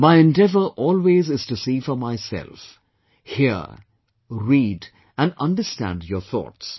My endeavor always is to see for myself, hear, read and understand your thoughts